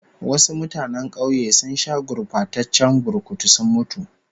Wasu mutanen kauye sun sha gurbataccen burkutu sun mutu